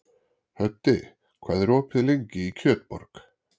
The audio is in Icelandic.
Höddi, hvað er opið lengi í Kjötborg?